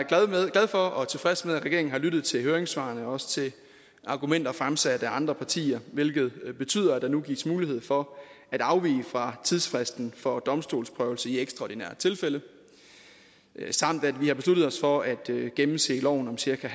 glad for og tilfreds med at regeringen har lyttet til høringssvarene og også til argumenter fremsat af andre partier hvilket betyder at der nu gives mulighed for at afvige fra tidsfristen for domstolsprøvelse i ekstraordinære tilfælde samt at vi har besluttet os for at gennemse loven om cirka en